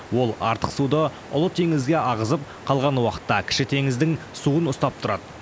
ол артық суды ұлы теңізге ағызып қалған уақытта кіші теңіздің суын ұстап тұрады